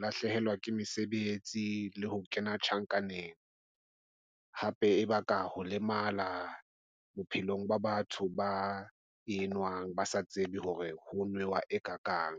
lahlehelwa ke mesebetsi le ho kena tjhankaneng. Hape e ba ka ho lemala bophelong ba batho ba enwang, ba sa tsebe hore ho newa e ka kang.